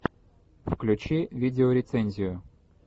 включи видеорецензию